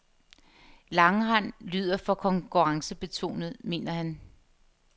Langrend lyder for konkurrencebetonet, mener han.